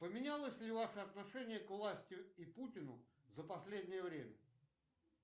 поменялось ли ваше отношение к власти и путину за последнее время